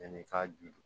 Yanni i k'a ju